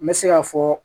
N bɛ se k'a fɔ